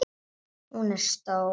Hún er stór.